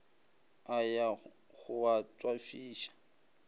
a ya go a tšwafiša